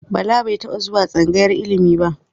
Bala ba taɓa zuwa tsangayar ilimi ba.